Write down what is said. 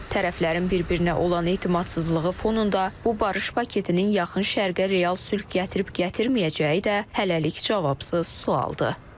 Tərəflərin bir-birinə olan etimadsızlığı fonunda bu barış paketinin yaxın Şərqə real sülh gətirib-gətirməyəcəyi də hələlik cavabsız sualdır.